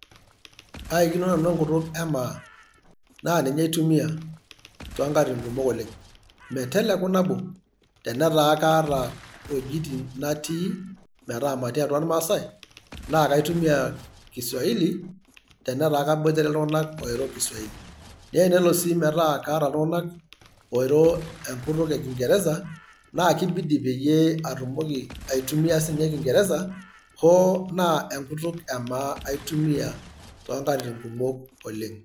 Aikino nanu enkutuk emaa. Na ninye aitumia tonkatitin kumok oleng'. Meteleku nabo, tenetaa kaata iwuejiting' natii, metaa matii atua irmaasai, nakaitumia kiswaili tenetaa kaboitare iltung'anak oiro kiswaili. Nenelo si metaa kaata iltung'anak oiro enkutuk ekinkeresa, na kibidi peyie atumoki aitumia sinye kinkeresa, hoo na enkutuk emaa aitumia tonkatitin kumok oleng'.